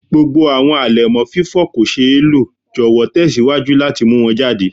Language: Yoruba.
Gbogbo awọn alẹmọ fifọ ko ṣee lo jọwọ tẹsiwaju lati mu wọn jade